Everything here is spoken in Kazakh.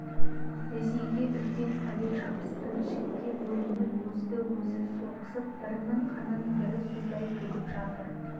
ресейге үлкен пәле жабысты жікке бөлініп өзді-өзі соғысып бірінің қанын бірі судай төгіп жатыр